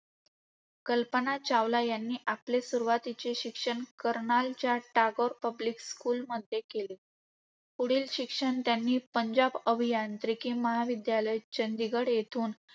कल्पना चावला यांनी आपले सुरुवातीचे शिक्षण करनालच्या टागोर पब्लिक स्कूलमधून केले. पुढील शिक्षण त्यांनी पंजाब अभियांत्रिकी महाविद्यालय, चंदीगड, येथून